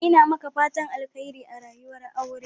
Ina maka fatan Alkhairi a rayuwar aure.